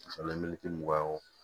mugan